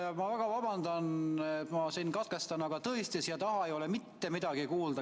Ma palun väga vabandust, et ma teid katkestasin, aga siia taha ei ole tõesti mitte midagi kuulda.